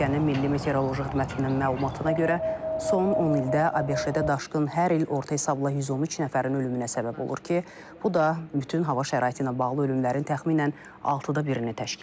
Ölkənin milli meteoroloji xidmətinin məlumatına görə son 10 ildə ABŞ-da daşqın hər il orta hesabla 113 nəfərin ölümünə səbəb olur ki, bu da bütün hava şəraiti ilə bağlı ölümlərin təxminən altıda birini təşkil edir.